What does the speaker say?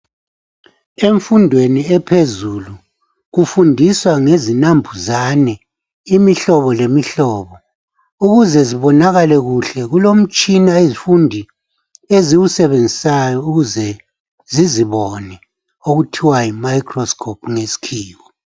Emfundweni ephezulu kufundiswa ngezinambuzane, imihlobo lemihlobo . Ukuze zibonakale kuhle kulomtshina abafundi abawusebenzisayo ukuze bezibone okuthiwa yi microscope ngesikhiwa.